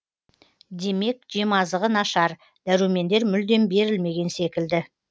демек жемазығы нашар дәрумендер мүлдем берілмеген секілді